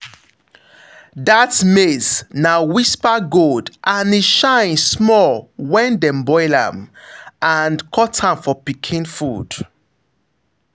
that maize na whisper gold and e shine small when dem boil am and cut am for pikin food.